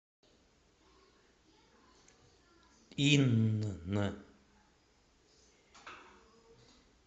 инн